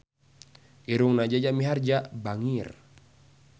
Irungna Jaja Mihardja bangir